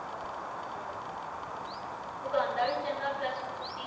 ਹਮ ਉਹ ਗਾਉਂਦਾ ਵੀ ਚੰਗਾ plus ਉੱਤੋਂ ਦੀ,